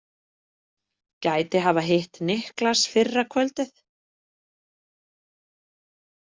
Gæti hafa hitt Niklas fyrra kvöldið.